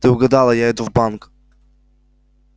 ты угадала я иду в банк